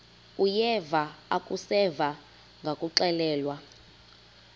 uyeva akuseva ngakuxelelwa